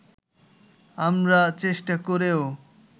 আমরা চেষ্টা করেও